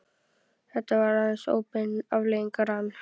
Þetta var aðeins óbein afleiðing rann